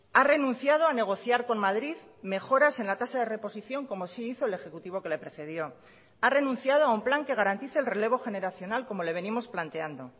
ha renunciado a negociar con madrid mejoras en la tasa de reposición como sí hizo el ejecutivo que le precedió ha renunciado a un plan que garantice el relevo generacional como le venimos planteando